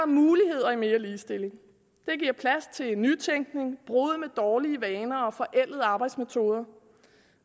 muligheder i mere ligestilling det giver plads til nytænkning brud med dårlige vaner og forældede arbejdsmetoder